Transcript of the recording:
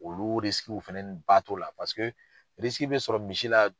Olu fɛnɛni ba t'o la paseke bɛ sɔrɔ misi la